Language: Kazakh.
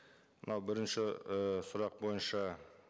мынау бірінші і сұрақ бойынша